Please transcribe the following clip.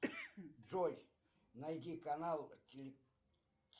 джой найди канал